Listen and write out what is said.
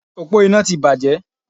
Òpó iná ti bàjẹ́